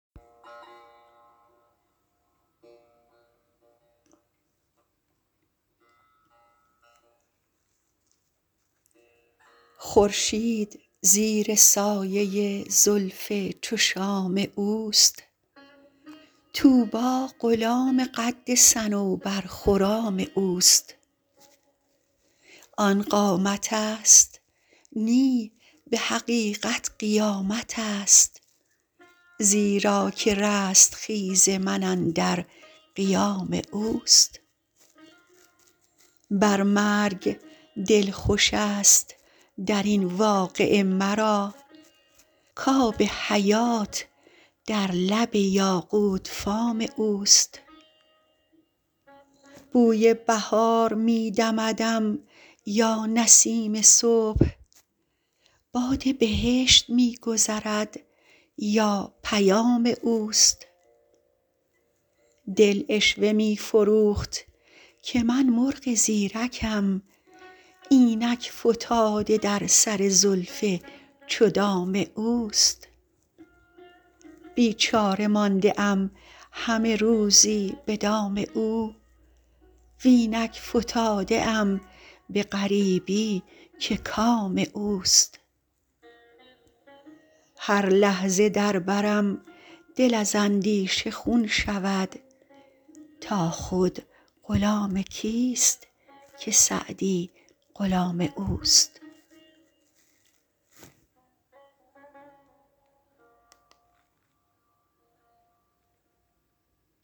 خورشید زیر سایه زلف چو شام اوست طوبی غلام قد صنوبرخرام اوست آن قامتست نی به حقیقت قیامتست زیرا که رستخیز من اندر قیام اوست بر مرگ دل خوشست در این واقعه مرا کآب حیات در لب یاقوت فام اوست بوی بهار می دمدم یا نسیم صبح باد بهشت می گذرد یا پیام اوست دل عشوه می فروخت که من مرغ زیرکم اینک فتاده در سر زلف چو دام اوست بیچاره مانده ام همه روزی به دام او و اینک فتاده ام به غریبی که کام اوست هر لحظه در برم دل از اندیشه خون شود تا خود غلام کیست که سعدی غلام اوست